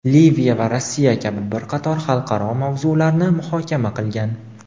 Liviya va Rossiya kabi bir qator xalqaro mavzularni muhokama qilgan.